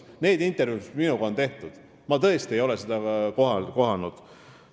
Neis intervjuudes, mis minuga on tehtud, ei ole ma tõesti seda kohanud.